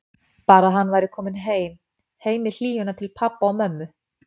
Bara að hann væri kominn heim, heim í hlýjuna til pabba og mömmu.